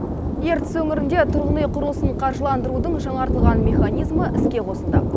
ертіс өңірінде тұрғын үй құрылысын қаржыландырудың жаңартылған механизмі іске қосылды